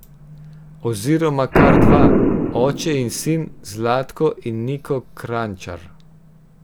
Oziroma kar dva, oče in sin Zlatko in Niko Kranjčar.